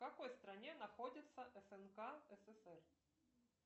в какой стране находится снк ссср